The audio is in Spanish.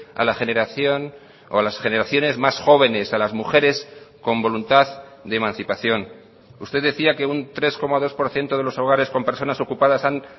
a la generación o a las generaciones más jóvenes a las mujeres con voluntad de emancipación usted decía que un tres coma dos por ciento de los hogares con personas ocupadas han